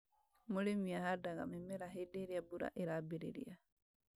Mũrĩmi ahandaga mĩmera hĩndĩ ĩrĩa mbura ĩrambĩrĩria